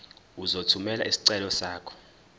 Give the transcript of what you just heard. uzothumela isicelo sakho